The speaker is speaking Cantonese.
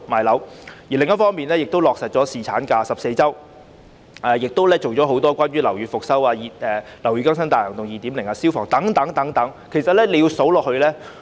另一方面，她又落實把產假延長至14周和推動樓宇復修工作，例如"樓宇更新大行動 2.0" 及消防安全改善工程資助計劃等。